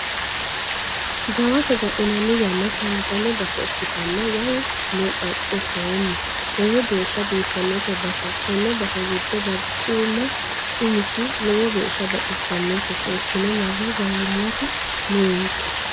Jawa saga'linanni yanna saysanni base ikkittanna waayi no qacesenni lowo geeshsha biifanote base tene base giddo barcima umisi lowo geeshsha baxisanote seekkine marre gangalatta noonke.